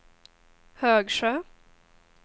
Högsjö